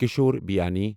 کِشور بیانی